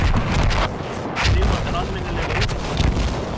Þig vantar almennilega úlpu.